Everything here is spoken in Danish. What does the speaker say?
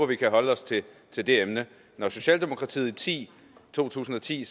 vi kan holde os til det emne socialdemokratiet sagde i 2010